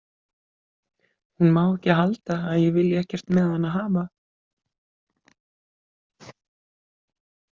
Hún má ekki halda að ég vilji ekkert með hana hafa.